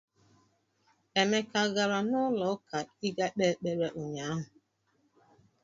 Emeka a gara n'ụlọụka ịga kpee ekpere ụnyaahụ?